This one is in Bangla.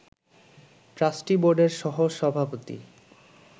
ট্রাস্টি বোর্ডের সহসভাপতি